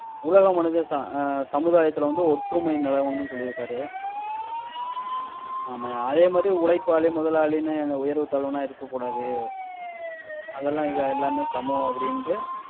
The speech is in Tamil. உலக மனித ச~ ஆஹ் சமுதாயத்துல வந்து, ஒற்றுமை நிலவும்னு சொல்லிருக்காரு. ஆமாய்யா. அதே மாதிரி உழைப்பாளி, முதலாளின்னு எந்த உயர்வு தாழ்வும் இருக்கக்கூடாது. அது எல்லாம் இல்லை எல்லாமே சமம் அப்டின்ட்டு